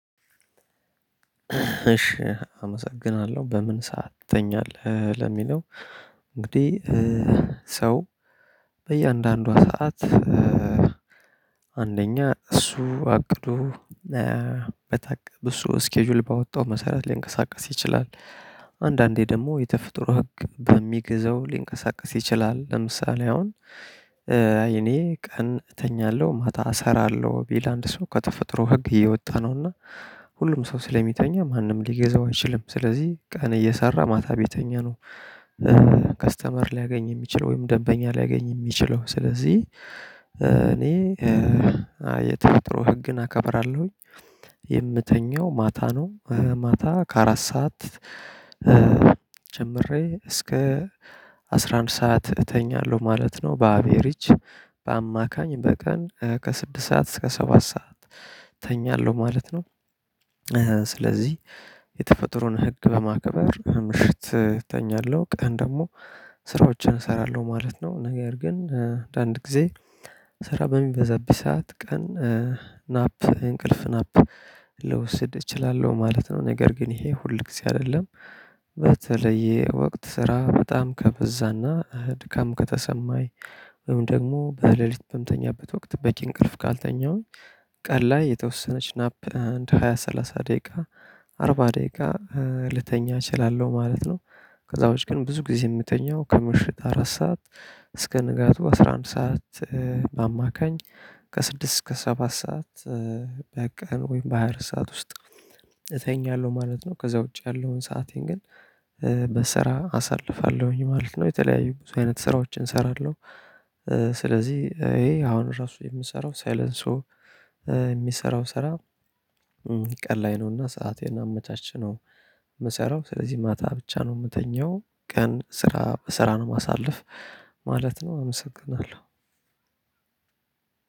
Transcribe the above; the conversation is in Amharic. እሺ አመሰግናለሁ በምን ሰዓት ትተኛለህ ለሚለው? እንግዲህ ሰው በእያንዳንዷ ሰዓት አንደኛ እሱ አቅዶ በታቀበ እሱ እስኬጁል ባወጣው መሰረት ላይንቀሳቀስ ይችላል። አንዳንዴ ደግሞ የተፈጥሮ ሕግ በሚገዛው ሊንቀሳቀስ ይቺላል። ለምሳሌ አሁን አይ እመ ቀን እተኛለሁ ማታ እሰራለው ቢል አንድ ሰው ከተፈጥሮ ሕግ እየወጣ ነው። ሁሉም ሰው ስለሚተኛ ማንም ሊገዛው አይችልም ስለዚህ ቀን እየሰራ ማታ ቤተኛ ነው። ከስተመር ሊያገኝ የሚችለው ወይም ደንበኛ ሊያገኝ የሚችለው ስለዚህ እኔ የተፈጥሮ ህግን አከብራለሁኝ። የምተኛው ማታ ነው ማታ ከአራት ሰዓት ጀምሬ እስከ አስራ አንድ ሰዓት እተኛለሁ ማለት ነው በአቤሬጅ በቀን ከስድስት ሰዓት እስከ ሰባት ሰዓት እተኛለሁ ማለት ነው። የተፈጥሮን ህግ በማከበር ምሽት እተኛለሁ ቀን ደግሞ ስራዎችን እሰራለሁ ማለት ነው። ነገር ግን አንድ ጊዜ ስራ በሚበዛብኝ ሰዓት ቀን ናፕ እንቅልፍ ናፕ ልውስድ እችላለሁ ማለት ነው። ነገር ግን ይሄ ሁል ጊዜ አይደለም። በተለያየ ወቅት ስራ በጣም ከበዛና ድካም ከተሰማኝ ወይም ደግሞ በለሊት በምተኛበት ወቅት በቂ እንቅልፍ ካልተኛሁኝ ቀን ላይ የተወሰነች ናፕ አንድ ሃያ ሰላሳ ደቂቃ አርባ ደቂቃ ልተኛ እችላለሁ ማለት ነው። ከዛ ውጭ ግን ብዙ ጊዜ የምተኛው ከምሽት አራት ሰዓት እስከ ንጋቱ አስራ አንድ ሰዓት በአማካኝ ከስድስት እስከ ሰባት ሰዓት በቃ ወይም በሃያ አራት ሰዓት ውስጥ እተኛለሁ ማለት ነው። ከዛ ውጪ ያለውን ሰአቴን ግን በስራ አሳልፋለሁኝ ማለት ነው። የተለያዩ ብዙ አይነት ስራዎችን እሰራለሁ። ስለዚህ ይሄ አሁን ራሱ የምሰራው ሳይለንሱ የሚሰራው ስራ ቀን ላይ ነውና ሰአቴን አመቻችቼ ነው የምሰራው ስለዚህ ማታ ብቻ ነው እምተኛው ቀን ስራ በስራ ነው እማሳለፍ ማለት ነው። አመሰግናለሁ።